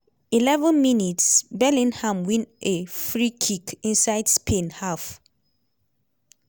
11 mins - bellingham win a freekick inside spain half.